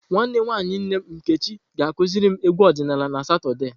Nwanne nwanyi nne m Nkechi ga-akuziri m egwu odinala na Satọde.